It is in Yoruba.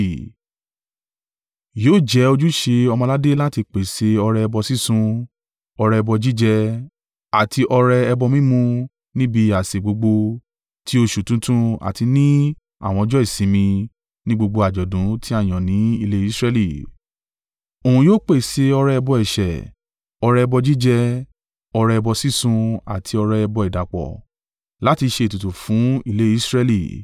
Yóò jẹ́ ojúṣe ọmọ-aládé láti pèsè ọrẹ ẹbọ sísun, ọrẹ ẹbọ jíjẹ àti ọrẹ ẹbọ mímu níbi àsè gbogbo, ti oṣù tuntun àti ní àwọn ọjọ́ ìsinmi ni gbogbo àjọ̀dún tí a yàn ní ilé Israẹli. Òun yóò pèsè ọrẹ ẹbọ ẹ̀ṣẹ̀, ọrẹ ẹbọ jíjẹ, ọrẹ ẹbọ sísun àti ọrẹ ẹbọ ìdàpọ̀, láti ṣe ètùtù fún ilé Israẹli.